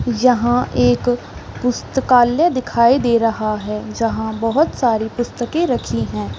यहाँ एक पुस्तकालय दिखाई दे रहा है जहाँ बहुत सारी पुस्तके रखी है।